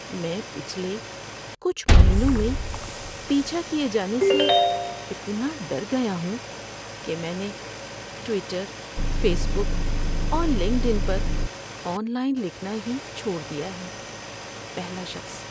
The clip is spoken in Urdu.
میں پچھلے کچھ مہینوں میں پیچھا کیے جانے سے اتنا ڈر گیا ہوں کہ میں نے ٹویٹر، فیس بک اور لنکڈ ان پر آن لائن لکھنا ہی چھوڑ دیا ہے۔ (پہلا شخص)